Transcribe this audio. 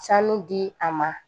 Sanu di a ma